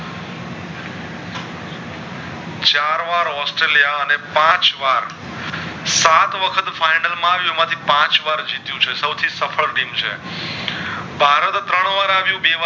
વાર ઑસ્ટ્રેલિયા અને પાંચ વાર સાત વખત final માં આવ્યુ એમાંથી પાંચ વાર જીત્યું છે સૌ થી સફર ટીમ છે વારો તો ત્રણ વાર આવીયો બે વાર